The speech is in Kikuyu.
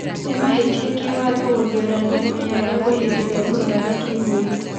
Ni mahĩtia kĩwatho gũthiorania munyanyagũo ihinda rĩria mũronana kĩmwĩrĩ.